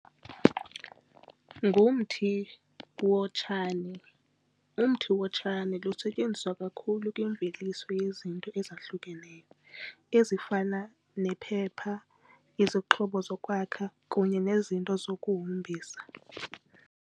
Ngumthi wotshani. Umthi wotshani lusetyenziswa kakhulu kwimveliso yezinto ezahlukeneyo, ezifana nephepha, izixhobo zokwakha kunye nezinto zokuhombisa.